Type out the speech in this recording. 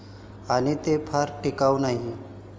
आणि तो फार टिकाऊ नाही.